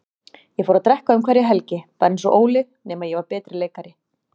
Ég fór að drekka um hverja helgi, bara einsog Óli, nema ég var betri leikari.